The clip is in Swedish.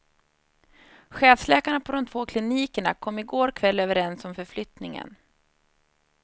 Chefsläkarna på de två klinikerna kom i går kväll överens om förflyttningen.